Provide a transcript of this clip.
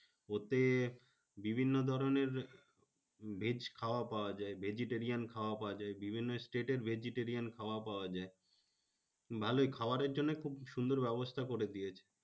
ওতে বিভিন্ন ধরণের veg খাবার পাওয়া যায়। vegetarian খাওয়া পাওয়া যায়। বিভিন্ন state এর vegetarian খাওয়া পাওয়া যায়। ভালোই খাবারের জন্য খুব সুন্দর ব্যবস্থা করে দিয়েছে।